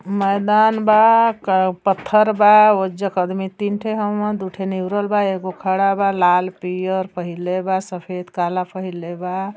मैदान बा का पत्थर बा ओहिजाक आदमी तीन थो हउवन दू थो निहुरल हउअन एगो खड़ा बा लाल पीर पहिरले बा सफ़ेद काला पहिरले बा |